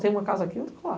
Tem uma casa aqui e outra lá.